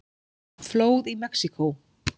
Flóð í Mexíkó